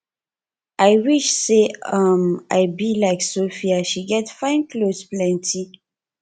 i wish say um i be like sophia she get fine cloth plenty